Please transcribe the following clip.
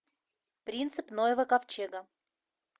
принцип ноева ковчега